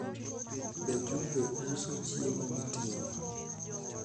be juve uso chiemo miting'o